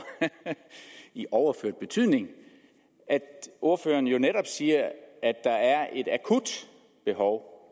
i overført betydning at ordføreren jo netop siger at der er et akut behov